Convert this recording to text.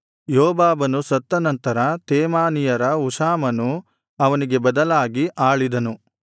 ಯೋಬಾಬನು ಸತ್ತ ನಂತರ ತೇಮಾನೀಯರ ಹುಷಾಮನು ಅವನಿಗೆ ಬದಲಾಗಿ ಆಳಿದನು